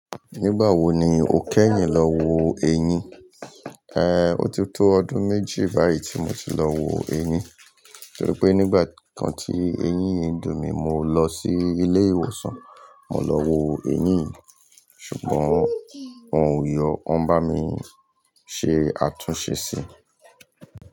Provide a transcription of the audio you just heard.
Nígbà wo ni o kẹ́yìn lọ wo ẹyin? Ó ti tó ọdún méjì báyìí tí mo ti lọ wo eyin, torí pé nígbà kan tí eyín dùn mí, mo lọ sí ilé ìwòsàn, mo lọ wo eyin yi, ṣùgbọ́n wọn ò yọ, wọ́n bá mi ṣe àtúnṣe sí i.